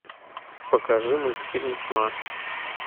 покажи мультфильм тьма